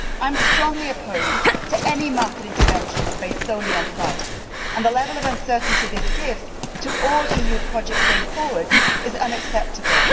I am strongly opposed to any market interventions based solely on price, and the level of uncertainty this gives to all EU projects going forward is unacceptable.